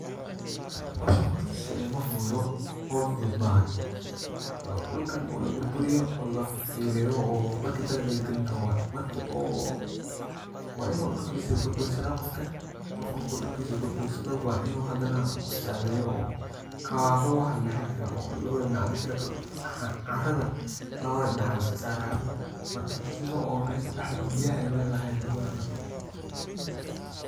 Howshan horta sidee ma fududo howl fudud maahan dhulkan oo la burburiyo oo la fiileyo oo markii dalaga la gelin raawo waye markii oo .waa inuu cirkiisii burbursanaa qofka qofku dhulkiisa burbursado waa inuu haddana qof saa video oo kawawabo waxa la dhahay oo labada intee la kala qabto carrada labada dhinac la iska saarayo markaasi oo meesha dhexda oo biyaha ay mari lahaayeen aay ubananato.